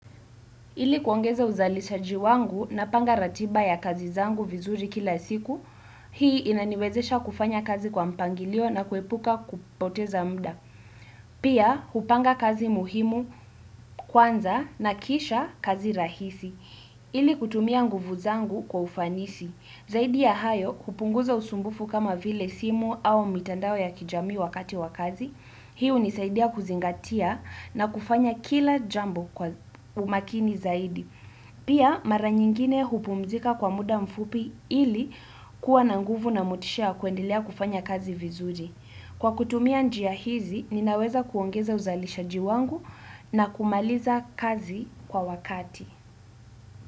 Ili kuongeza uzalishaji wangu napanga ratiba ya kazi zangu vizuri kila siku, hii inaniwezesha kufanya kazi kwa mpangilio na kuepuka kupoteza mda. Pia, hupanga kazi muhimu kwanza na kisha kazi rahisi. Ili kutumia nguvu zangu kwa ufanisi. Zaidi ya hayo, kupunguza usumbufu kama vile simu au mitandao ya kijami wakati wakazi. Hii hunisaidia kuzingatia na kufanya kila jambo kwa umakini zaidi. Pia mara nyingine hupumzika kwa muda mfupi ili kuwa na nguvu na mutisha kuendelea kufanya kazi vizuri. Kwa kutumia njia hizi, ninaweza kuongeza uzalishaji wangu na kumaliza kazi kwa wakati.